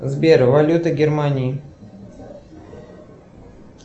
сбер валюта германии